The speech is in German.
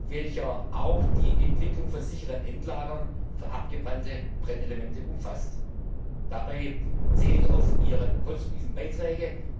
wird, welcher auch die Entwicklung von sicheren Endlagern für abgebrannte Brennelemente umfasst. Dabei zähle ich auf Ihre konstruktiven Beiträge.